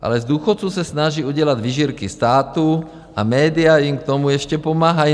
- Ale z důchodců se snaží udělat vyžírky státu a média jim k tomu ještě pomáhají.